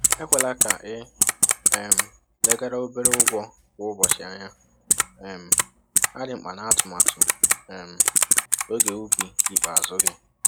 Ekwela ka ị um leghara obere ụgwọ kwa ụbọchị anya, um ha dị mkpa n’atụmatụ um ego ubi ikpeazụ gị.